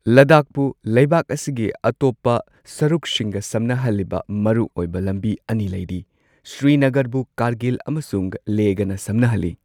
ꯂꯗꯥꯈꯄꯨ ꯂꯩꯕꯥꯛ ꯑꯁꯤꯒꯤ ꯑꯇꯣꯞꯄ ꯁꯔꯨꯛꯁꯤꯡꯒ ꯁꯝꯅꯍꯜꯂꯤꯕ ꯃꯔꯨꯑꯣꯏꯕ ꯂꯝꯕꯤ ꯑꯅꯤ ꯂꯩꯔꯤ꯫ ꯁ꯭ꯔꯤꯅꯒꯔꯕꯨ ꯀꯥꯔꯒꯤꯜ ꯑꯃꯁꯨꯡ ꯂꯦꯍꯒꯅ ꯁꯝꯅꯍꯜꯂꯤ꯫